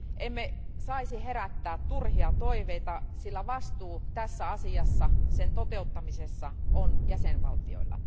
Emme saisi herättää turhia toiveita, sillä vastuu tässä asiassa, sen toteuttamisessa, on jäsenvaltioilla.